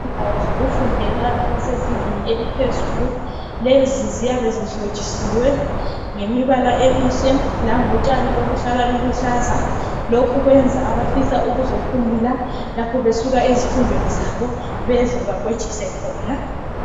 Indawo zokufundela abasezingeni eliphezulu lezi ziyabe zihlotshisiwe ngemibala emihle langotshani oluluhlaza lokhu kwenza abafisa ukuzophumula lapho besuka ezifundweni zabo beze bakwejise khona